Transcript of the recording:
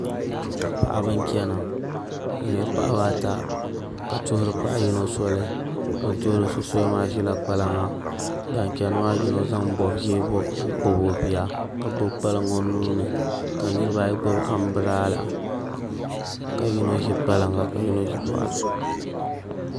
Paɣaba n chɛna ni nyɛla paɣaba ata ka tuhuri paɣa yino soli bini tuhuri so soli maa ʒila kpalaŋaban chɛni maa yino zaŋ bob ʒiɛ n kpabi o bia ka gbubi kpalaŋ o nuuni kaniraba ayi gbubi anbirala ka yino ʒi kpalaŋa ka yino ʒi boɣati